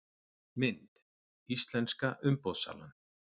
Mynd: Íslenska umboðssalan